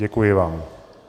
Děkuji vám.